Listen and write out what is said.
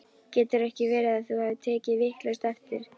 Getur ekki verið að þú hafir tekið vitlaust eftir?